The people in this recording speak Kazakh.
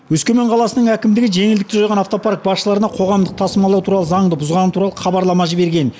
өскемен қаласының әкімдігі жеңілдікті жойған автопарк басшыларына қоғамдық тасымалдау туралы заңды бұзғаны туралы хабарлама жіберген